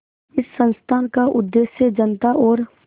इस संस्थान का उद्देश्य जनता और